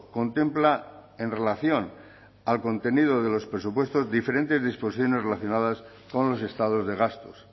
contempla en relación al contenido de los presupuestos diferentes disposiciones relacionadas con los estados de gastos